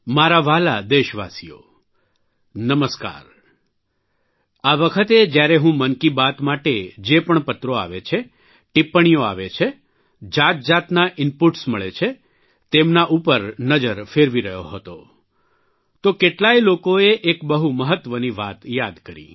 મારા વ્હાલા દેશવાસીઓ નમસ્કાર આ વખતે જયારે હું મનકી બાત માટે જે પણ પત્રો આવે છે ટીપ્પણીઓ આવે છે જાતજાતના ઇન્ પુટ્સ મળે છે તેમના ઉપર નજર ફેરવી રહ્યો હતો તો કેટલાય લોકોએ એક બહુ મહત્વની વાત યાદ કરી